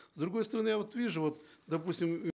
с другой стороны я вот вижу вот допустим э